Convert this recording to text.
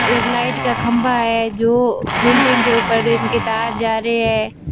एक लाइट का खंभा है जो बिल्डिंग के ऊपर इन की तार जा रही है।